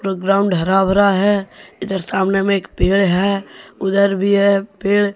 Ground हरा भरा है इधर सामने में एक पेड़ है उधर भी है पेड़।